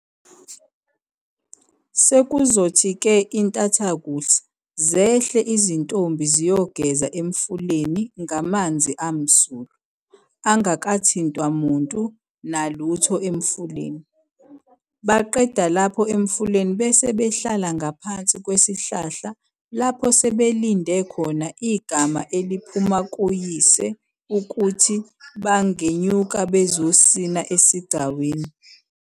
Sekuzothi-ke intathakusa zehle izintombi ziyogeza emfuleni ngamanzi amsulwa, angakathintwa muntu nalutho emfuleni. Baqeda lapho emfuleni bese behlala ngaphansi kwesihlahla lapho sebelinde khona igama eliphuma kuyise ukuthi bangenyuka ukuzosina esigcawini.